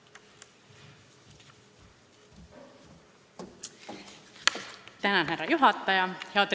Lugupeetud härra juhataja!